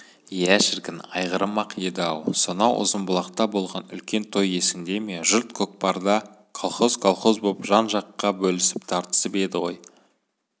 иә шіркін айғырым-ақ еді-ау сонау ұзынбұлақта болатын үлкен той есіңде ме жұрт көкпарды колхоз-колхоз боп жақ-жаққа бөлініп тартысып еді ғой